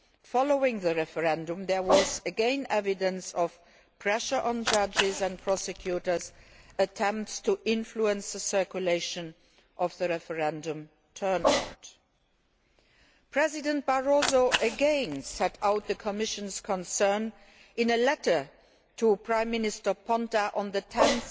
Following the referendum there was again evidence of pressure on judges and of prosecutors' attempts to influence the circulation of the referendum turnout. President Barroso again set out the Commission's concern in a letter to Prime Minister Ponta on 10